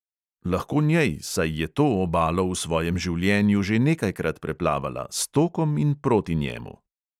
Lahko njej, saj je to obalo v svojem življenju že nekajkrat preplavala – s tokom in proti njemu.